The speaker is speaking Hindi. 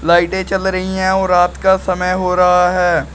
लाइटें चल रही हैं और रात का समय हो रहा है।